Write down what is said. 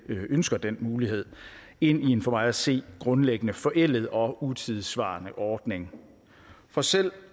ønsker den mulighed ind i en for mig at se grundlæggende forældet og utidssvarende ordning for selv